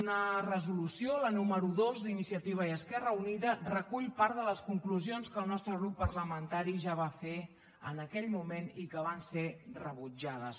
una resolució la número dos d’iniciativa i esquerra unida recull part de les conclusions que el nostre grup parlamentari ja va fer en aquell moment i que van ser rebutjades